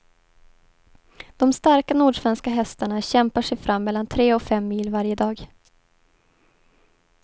De starka nordsvenska hästarna kämpar sig fram mellan tre och fem mil varje dag.